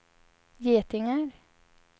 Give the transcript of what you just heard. getingar